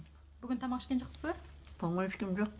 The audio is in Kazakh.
бүгін тамақ ішкен жоқсыз ба тамақ ішкем жоқ